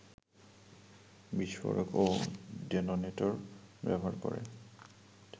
বিস্ফোরক ও ডেটোনেটর ব্যবহার করে